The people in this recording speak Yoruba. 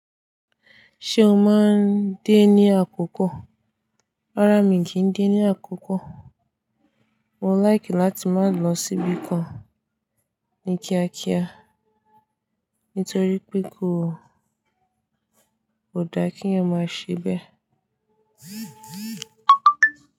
Ṣé o máa ń dé ní àkókò? Rárá mi kì í dé ní àkókò. Mo láìkì láti máa lọ síbì kan ní kíákíá nítorí pé kò, kò da kí ẹ máa ṣe bẹ́ẹ̀.